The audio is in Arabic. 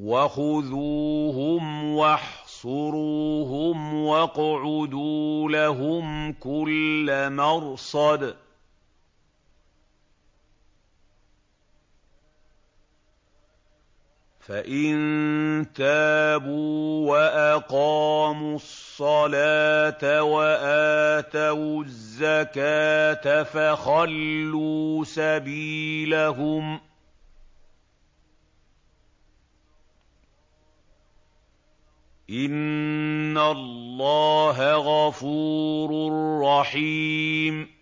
وَخُذُوهُمْ وَاحْصُرُوهُمْ وَاقْعُدُوا لَهُمْ كُلَّ مَرْصَدٍ ۚ فَإِن تَابُوا وَأَقَامُوا الصَّلَاةَ وَآتَوُا الزَّكَاةَ فَخَلُّوا سَبِيلَهُمْ ۚ إِنَّ اللَّهَ غَفُورٌ رَّحِيمٌ